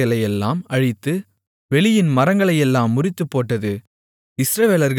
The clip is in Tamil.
இஸ்ரவேலர்கள் இருந்த கோசேன் நாட்டில் மட்டும் கல்மழை பெய்யாமல் இருந்தது